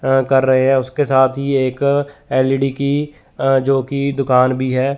अ कर रहे हैं उसके साथ ही एक एल_इ_डी की जोकि दुकान भी है।